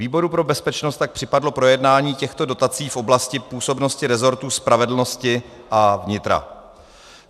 Výboru pro bezpečnost tak připadlo projednání těchto dotací v oblasti působnosti rezortu spravedlnosti a vnitra.